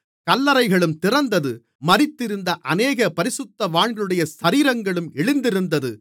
கல்லறைகளும் திறந்தது மரித்திருந்த அநேக பரிசுத்தவான்களுடைய சரீரங்களும் எழுந்திருந்தது